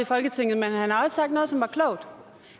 folketinget men han har også sagt noget som var klogt